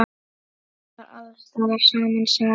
Var alls staðar sama sagan?